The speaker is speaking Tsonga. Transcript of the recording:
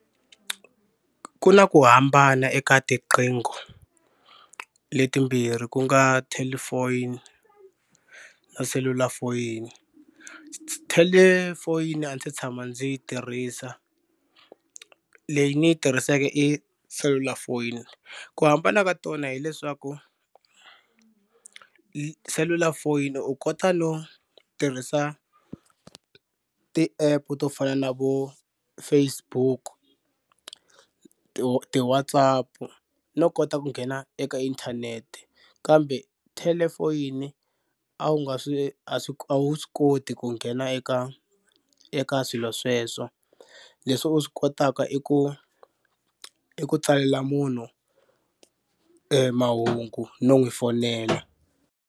Ku na ku hambana eka tiqingho letimbirhi ku nga telephone na cellular phone. Telephone a ni se tshama ndzi yi tirhisa leyi ni yi tirhiseke i cellular phone ku hambana ka tona hileswaku cellular phone u kota no tirhisa ti-app to fana na vo Facebook ti ti-WhatsApp no kota ku nghena eka internet kambe telephone a wu nga swi a swi a wu swi koti ku nghena eka eka swilo sweswo leswi u swi kotaka i ku i ku tsalela munhu e mahungu no n'wi fonela.